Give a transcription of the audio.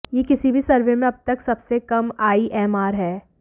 यह किसी भी सर्वे में अब तक सबसे कम आईएमआर है